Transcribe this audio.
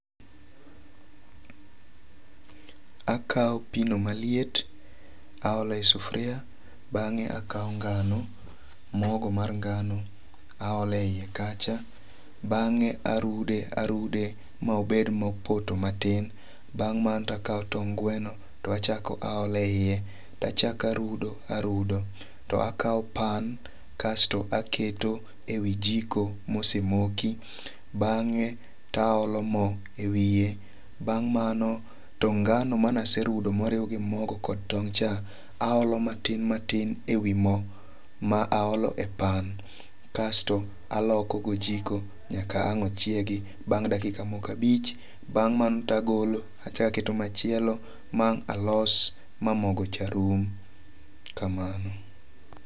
Akaw pi no maliet aole sufria. Bang'e akaw ngano, mogo mar ngano, aole iye kacha. Bang'e arude arude ma obed mopoto matin. Bang' mano to akaw tong' gweno to achako aole yie to achako arudo arudo. To akaw pan kasto aketo e wi jiko mosemoki. Bang'e to aolo mo e wiye. Bang' mano to ngano mane aserudo ma oriw gi mogo kod tong' cha, aolo matin matin e wi mo ma aolo e pan. Kasto aloko go ojiko nyaka ang' ochiegi. Bang' dakika moko abich, bang' mano to agolo achako aketo machielo ma ang' alos ma mogo cha rum.